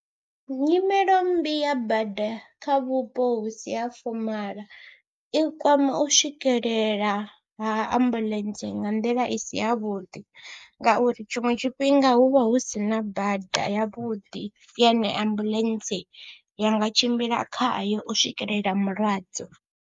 Nyimelo mmbi ya bada kha vhupo hu si ha fomaḽa i kwama u swikelela ha ambuḽentse nga nḓila i si yavhuḓi ngauri tshiṅwe tshifhinga hu vha hu si na bada yavhuḓi yane ambuḽentse ya nga tshimbila khayo u swikelela mulwadze.